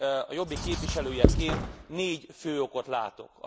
a Jobbik képviselőjeként négy fő okot látok.